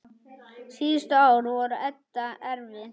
Síðustu ár voru Edda erfið.